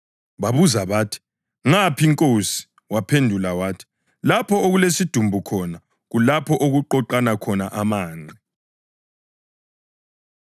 Babuza bathi, “Ngaphi, Nkosi?” Waphendula wathi, “Lapho okulesidumbu khona, kulapho okuqoqana khona amanqe.”